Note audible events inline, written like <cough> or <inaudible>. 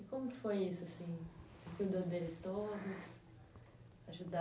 E como que foi isso, assim, você cuidou deles todos <unintelligible>